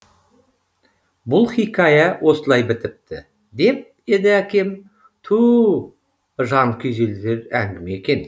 бұл хикая осылай бітіпті деп еді әкем туу жан күйзелтер әңгіме екен